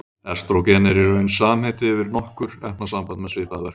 Estrógen er í raun samheiti yfir nokkur efnasambönd með svipaða verkun.